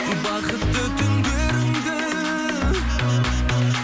бақытты түндеріңді